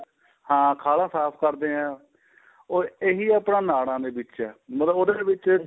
ਹਾਂ ਖਾਲਾਂ ਸਾਫ਼ ਕਰਦੇ ਆ ਉਹ ਇਹੀ ਆਪਣਾ ਨਾੜਾਂ ਨੇ ਵਿੱਚ ਏ ਮਤਲਬ ਉਹਦੇ ਵਿੱਚ